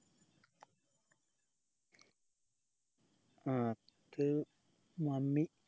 അത് mummy